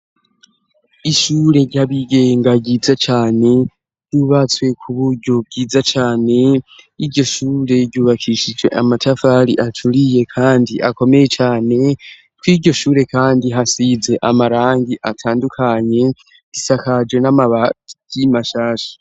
Ishure ryabigenga ryiza cane, ryubatswe kuburyo bwiza cane, iryo shure ryubakishijwe amatafari aturiye kandi akomeye cane, kw'iryo shure kandi hasize amarangi atandukanye isakaje n'amabati mashasha.